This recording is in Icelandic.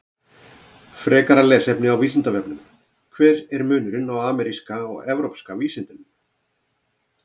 Frekara lesefni á Vísindavefnum: Hver er munurinn á ameríska og evrópska vísundinum?